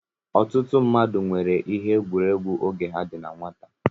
Ọtụtụ mmadụ nwere ihe egwuregwu oge ha dị na nwata.